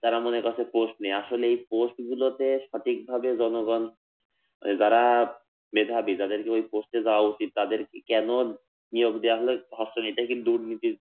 তারা মনে করছে post নেই, আসলে এই post গুলোতে সঠিকভাবে জনগণ, যারা মেধাবী যাদেরকে ওই post এ যাওয়া উচিত তাদেরকে কেন নিয়োগ দেয়া হলো হচ্ছেনা এটাই কিন্তু দুর্নীতির